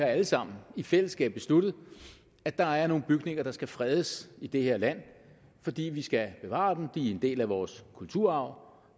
alle sammen i fællesskab har besluttet at der er nogle bygninger der skal fredes i det her land fordi vi skal bevare dem de er en del af vores kulturarv